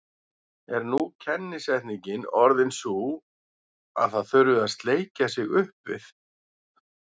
Er nú kennisetningin orðin sú að það þurfi að sleikja sig upp við